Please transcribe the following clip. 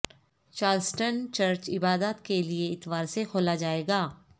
Charleston church عبادت کے لیے اتوار سے کھولا جائے گا